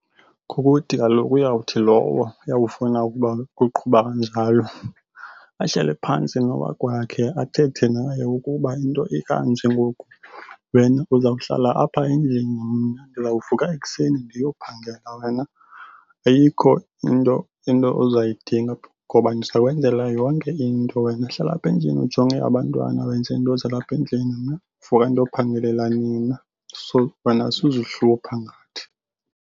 Kukuthi kaloku uyawuthi lowo uyawufuna ukuba kuqhuba kanjalo ahlale phantsi nowakwakhe athethe naye ukuba into ikanje ngoku, wena uzawuhlala apha endlini mna ndizawuvuka ekuseni ndiyophangela. Wena ayikho into ozayidinga ngoba ndizakwenzela yonke into. Wena hlala apha endlini ujonge abantwana wenze into zalapha endlini. Mna ndivuka ndiyophangelela nina. So, wena suzihlupha ngathi.